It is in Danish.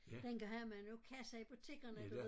Dengang havde man jo kasser i butikkerne du ved